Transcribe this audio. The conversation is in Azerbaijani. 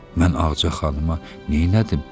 Mən Ağca xanıma neynədim?